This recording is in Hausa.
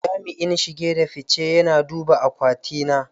Jami'in shige da fice yana duba akwati na.